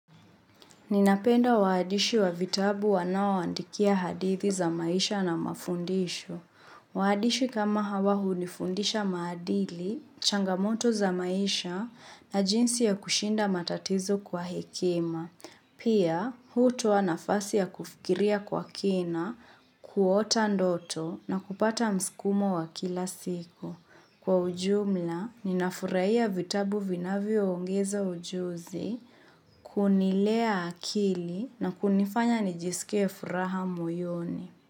Ninapenda waandishi wa vitabu wanaoandikia hadithi za maisha na mafundisho. Waandishi kama hawa hunifundisha maadili, changamoto za maisha na jinsi ya kushinda matatizo kwa hekema. Pia, hutoa nafasi ya kufikiria kwa kina, kuota ndoto na kupata mskumo wa kila siku. Kwa ujumla, ninafurahia vitabu vinavyoongeza ujuzi, kunilea akili na kunifanya nijisikie furaha moyoni.